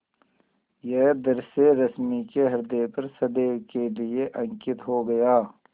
यह दृश्य रश्मि के ह्रदय पर सदैव के लिए अंकित हो गया